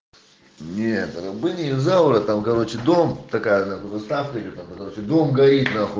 нет рабыня изаура там короче дом такая нахуй доставкой короче дом горит нахуй